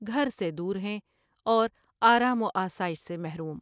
گھر سے دور ہیں اور آرام و آسائش سے محروم ۔